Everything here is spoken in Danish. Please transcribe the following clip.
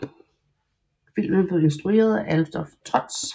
Filmen blev instrueret af Adolf Trotz